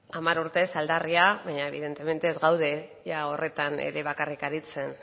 bai hamar urtez aldarria baina evidentemente ez gaude ia horretan ere bakarrik aritzen